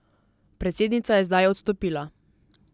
Predsednica je zdaj odstopila.